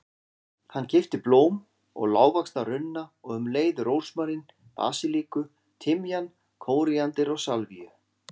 Hann keypti blóm og lágvaxna runna og um leið rósmarín, basilíku, timjan, kóríander og salvíu.